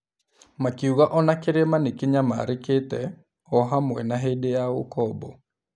Makiuga o na kĩrĩma nĩ kĩnyamarĩkĩte, o hamwe na hĩndĩ ya ũkombo.